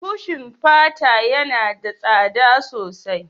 Kushin fata yana da tsada sosai